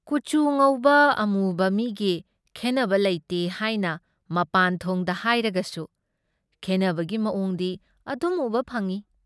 ꯀꯨꯆꯨ ꯉꯧꯕ ꯑꯃꯨꯕ ꯃꯤꯒꯤ ꯈꯦꯟꯅꯕ ꯂꯩꯇꯦ ꯍꯥꯏꯅ ꯃꯄꯥꯟꯊꯣꯡꯗ ꯍꯥꯏꯔꯒꯁꯨ ꯈꯦꯟꯅꯕꯒꯤ ꯃꯑꯣꯡꯗꯤ ꯑꯗꯨꯝ ꯎꯕ ꯐꯪꯏ ꯫